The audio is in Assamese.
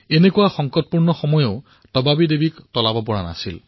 এনে পৰিস্থিতিতো তবাবী দেৱীয়ে সাহস হেৰুওৱা নাছিল